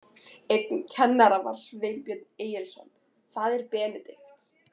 Einn kennara var Sveinbjörn Egilsson, faðir Benedikts.